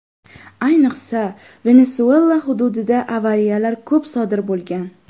Ayniqsa, Venesuela hududida avariyalar ko‘p sodir bo‘lgan.